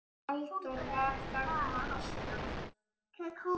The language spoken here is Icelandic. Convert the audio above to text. Halldór var þarna alltaf.